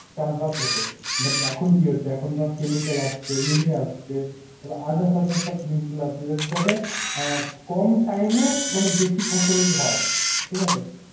চাষবাস হত but এখন কি হচ্ছে এখন ধর chemical আসছে urea আসছে তারপর others others সব জিনিস গুলো আসছে যা~ যাতে অ্যাঁ কম time এ বেশি ফসল হয় ঠিক আছে?